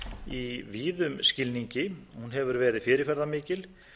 í víðum skilningi hún hefur verið fyrirferðarmikil